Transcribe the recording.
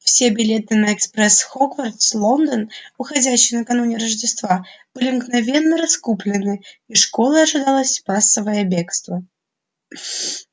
все билеты на экспресс хогвартс лондон уходящий накануне рождества были мгновенно раскуплены из школы ожидалось массовое бегство